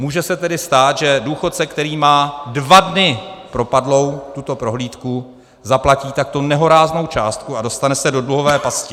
Může se tedy stát, že důchodce, který má dva dny propadlou tuto prohlídku, zaplatí takto nehoráznou částku a dostane se do dluhové pasti.